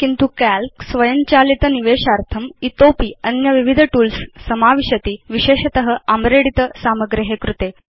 किन्तु काल्क स्वयञ्चालित निवेशार्थं इतोऽपि अन्य विविध टूल्स् समाविशति विशेषत आम्रेडित सामग्रे कृते